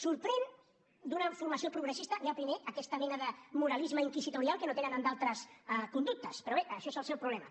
sorprèn d’una formació progressista ja primer aquesta mena de moralisme inquisitorial que no tenen amb d’altres conductes però bé això és el seu problema